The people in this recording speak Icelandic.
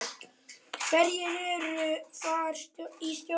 Hverjir eru þar í stjórn?